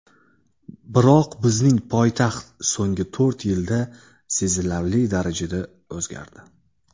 Biroq bizning poytaxt so‘nggi to‘rt yilda sezilarli darajada o‘zgardi.